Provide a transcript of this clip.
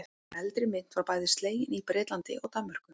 Eldri mynt var bæði slegin í Bretlandi og Danmörku.